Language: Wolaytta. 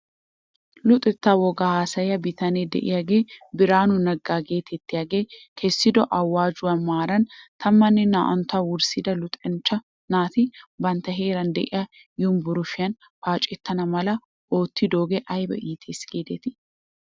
Luxettaa wogaa ayssiyaa bitane de'iyaagee Biraanu Nega geetettiyaaggee kessido awaajjuwaa maaran tammanne naa'antta wurssida luxanchcha naati bantta heeran de'iyaa yumbburshshiyn paacettana mala oottidoogee ayba iittes giidetii?